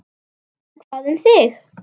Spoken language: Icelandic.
En hvað um þig?